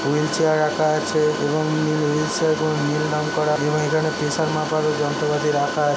Wheel chair রাখা আছে। এবং উ-হুইল চেয়ার গুল নীল রঙ করা এবং এখানে প্রেসার মাপার যন্ত্রপাতি রাখা আছে।